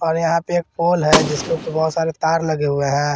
और यहां पे एक पोल है जिसके ऊपर बहुत सारे तार लगे हुए हैं।